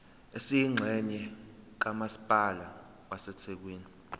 esiyingxenye kamasipala wasethekwini